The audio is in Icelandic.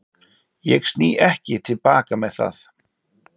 Ég sný ekki til baka með það.